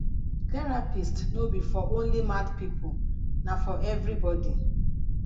therapist no be for only mad pipo na for everybody